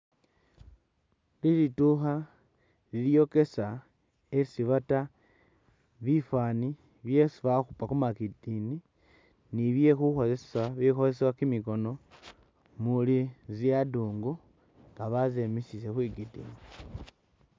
Liduukha lilyokesa esi baata bifaani byesi bakhupa khumatikini ne byekhukhosesa ibikhosesebwa kimikhono umuli zi adungu nga bazemezile khwigidini